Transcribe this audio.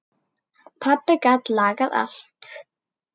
Pabbi gat lagað allt.